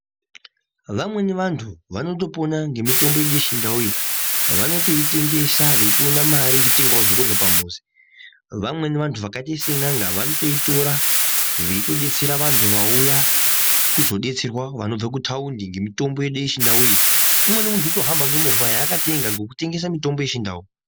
Vamweni vantu vanoto pona nge mitombo yedu ye chindau iyi vanotoi tengesa veitoona mari yekutengawo zve kurya pa muzi vamweni vantu vakaita se nyanga vanotoitora veito detsera vantu vauya kuzo detserwa vanobva ku taundi nge mutombo yedu ye chindau iyi umweni muntu unotohamba nge movha yaa akatenga ngeku tengesa mitombo ye chindau.